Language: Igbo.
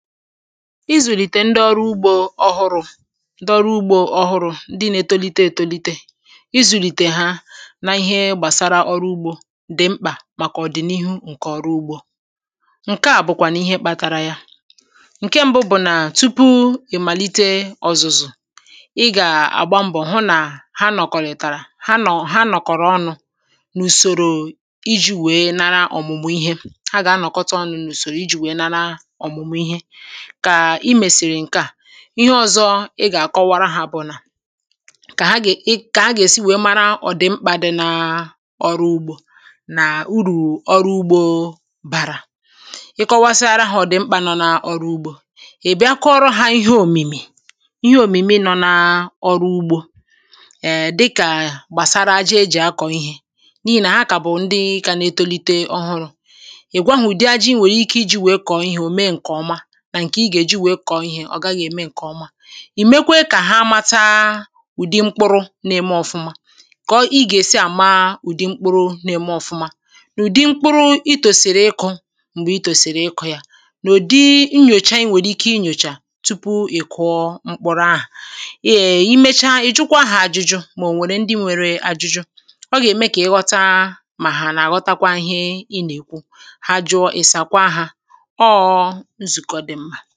izùlìtè ndị ọrụ ugbȯ ọhụrụ̇ ndị ọrụ ugbȯ ọhụrụ̇, ndị̇ na-etolite etolite izùlìtè ha n’ihe gbàsara ọrụ ugbȯ dị̀ mkpà màkà ọ̀dị̀nihu ǹkè ọrụ ugbȯ ǹke à bụ̀kwànụ̀ ihe kpȧtara ya ǹke ṁbụ bụ̀ nà tupu ì màlite ọ̀zụ̀zụ̀ ị gà-àgba mbọ̀ hụ nà ha nọ̀kọ̀rị̀tàrà ha nọ̀ ha nọ̀kọ̀rọ̀ ọnụ̇ n’ùsòrò iji̇ wèe nara ọ̀mụ̀mụ̀ ihe ha gà-anọ̀kọta ọnụ̇ n’ùsòrò iji̇ wèe nara ọ̀mụ̀mụ̀ ihe kà i mèsìrì ǹkè a ihe ọ̀zọ ị gà-àkọwara hȧ àbụ̀ nà kà ha gè ị kà ha gà-èsi wèe mara ọ̀dị̀ mkpà dị n’ọrụ ugbȯ nà urù ọrụ ugbȯ bàrà ị kọwasịara hȧ ọ̀dị̀ mkpà nọ n’ọrụ ugbȯ ị̀ bịa kọọrọ hȧ ihe òmìmì ihe òmìmì nọ̀ n’ọrụ ugbȯ è dịkà gbàsara aja ejì akọ̀ ihė n’ihì nà ha kà bụ̀ ndị kà na-etolite ọhụrụ̇ ị̀ gwa hụ̀ ụ̀dị aji̇ nwèrè ike iji̇ wèe kọ̀ọ ihe ò mee ǹkè ọma ì mekwa kà ha mata ụ̀dị mkpụrụ̇ na-eme ọ̀fụma kọ̀ ị gà-èsi àmaa ụ̀dị mkpụrụ̇ na-eme ọ̀fụma n’ụ̀dị mkpụrụ itòsìrì ịkụ̇ m̀gbè ị tòsìrì ịkụ̇ ya n’ụ̀dị nnyòcha iwèrè ike inyòchà tupu ị̀ kụọ mkpụrụ ahụ̀ èè i mecha ị̀ jụkwa hȧ ajụjụ mà ò wèrè ndị nwere ajụjụ ọ gà-ème kà ị ghọta mà hà nà-àghọtakwa ihe ị nà-èkwu ha jụọ ị̀sàkwa hȧ foto